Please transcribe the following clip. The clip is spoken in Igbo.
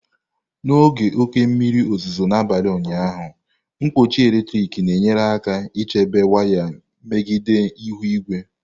N'oge oke mmiri ozuzo n'abalị ụnyaahụ, nkpuchi eletrik na-enyere aka chebe waya megide ihu igwe.